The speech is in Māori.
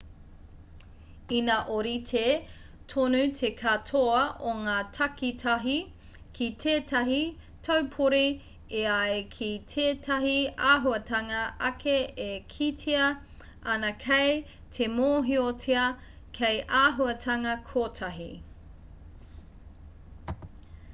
ina ōrite tonu te katoa o ngā takitahi ki tētahi taupori e ai ki tētahi āhuatanga ake e kitea ana kei te mōhiotia hei āhuatanga kotahi